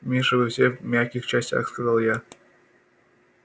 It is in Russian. миша вы все в мягких частях сказал я